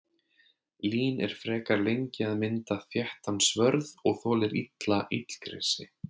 Lín er frekar lengi að mynda þéttan svörð og þolir illa illgresi.